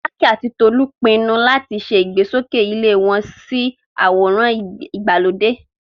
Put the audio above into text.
Folake àti Tolu pinnu láti ṣe ìgbésókè ilé wọn sí àwòrán ìgbàlódé.